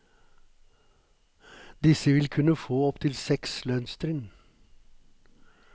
Disse vil kunne få opptil seks lønnstrinn.